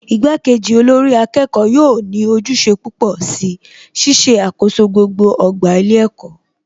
Ìgbà kejì olórí akẹ́kọ̀ọ́ yóò ní ojúṣe púpọ̀ si Ṣíṣe àkoso gbogbo ọgbà ilé ẹ̀kọ́